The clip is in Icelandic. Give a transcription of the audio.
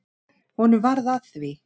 Honum varð að því.